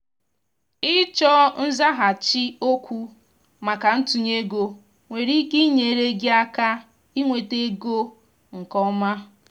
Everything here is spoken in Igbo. ịchọ nzaghachi okwu maka ntunye ego nwere ike inyere gị aka inweta ego nke ọma.